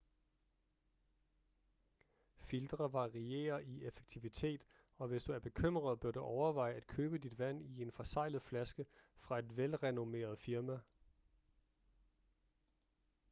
filtre varierer i effektivitet og hvis du er bekymret bør du overveje at købe dit vand i en forseglet flaske fra et velrenommeret firma